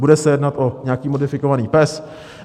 Bude se jednat o nějaký modifikovaný PES?